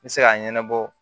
N bɛ se k'a ɲɛnabɔ